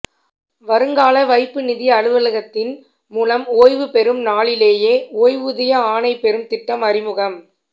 வருங்கால வைப்புநிதி அலுவலகத்தின் மூலம் ஓய்வுபெறும் நாளிலேயே ஓய்வூதிய ஆணை பெறும் திட்டம் அறிமுகம்